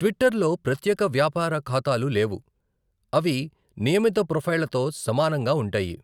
ట్విట్టర్లో ప్రత్యేక వ్యాపార ఖాతాలు లేవు. అవి నియమిత ప్రొఫైళ్లతో సమానంగా ఉంటాయి.